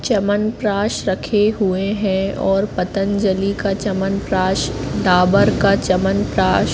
चमनप्राश रखे हुए है और पतंजलि का चमनप्राश डाबर का चमनप्राश --